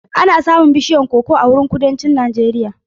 Ana samun bishiyun koko a Kudancin Najeriya.